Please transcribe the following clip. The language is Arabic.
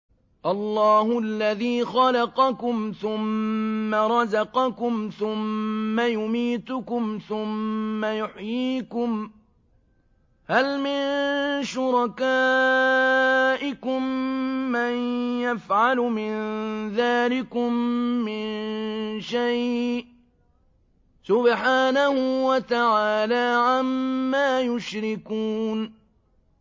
اللَّهُ الَّذِي خَلَقَكُمْ ثُمَّ رَزَقَكُمْ ثُمَّ يُمِيتُكُمْ ثُمَّ يُحْيِيكُمْ ۖ هَلْ مِن شُرَكَائِكُم مَّن يَفْعَلُ مِن ذَٰلِكُم مِّن شَيْءٍ ۚ سُبْحَانَهُ وَتَعَالَىٰ عَمَّا يُشْرِكُونَ